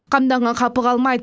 қамданған қапы қалмайды